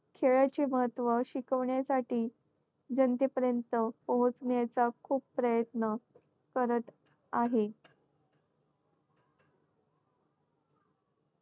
खेळाचे महत्त्व शिकवणेसाठी जनतेपर्यंत पोहोचण्याचा खूप प्रयत्न करत आहे.